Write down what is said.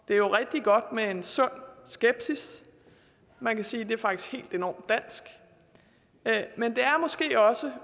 det er jo rigtig godt med en sund skepsis man kan sige at det faktisk er enormt dansk men det er måske også